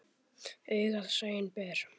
Augað sæinn ber.